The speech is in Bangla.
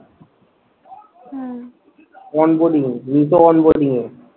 on boarding on boarding A